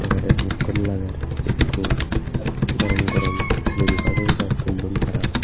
alawde hup gom lager ekko gorom gorom jilebi baje bujai tullon tara.